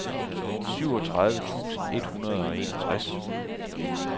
syvogtredive tusind et hundrede og enogtres